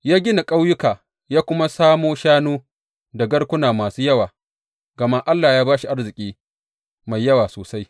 Ya gina ƙauyuka ya kuma samo shanu da garkuna masu yawa, gama Allah ya ba shi arziki mai yawa sosai.